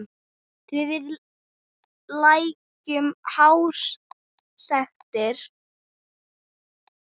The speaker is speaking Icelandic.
Við því lægju háar sektir.